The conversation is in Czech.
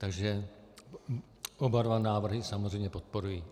Takže oba dva návrhy samozřejmě podporuji.